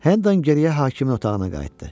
Henden geriyə hakimin otağına qayıtdı.